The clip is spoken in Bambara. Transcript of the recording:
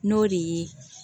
N'o de ye